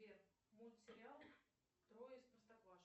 сбер мультсериал трое из простоквашино